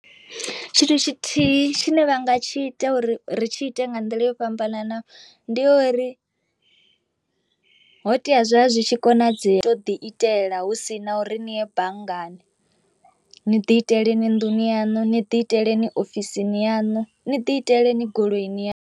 Tshithu tshithihi tshine vha nga tshi ita uri ri tshi ite nga nḓila yo fhambananaho ndi ya uri, ho tea zwa zwi tshi konadzea to ḓi itela hu si na uri ni ye banngani ni ḓi itele ni nnḓu ni yaṋu ni ḓi itele ni ofisini yaṋu ni ḓi itele ni goloi ni ya.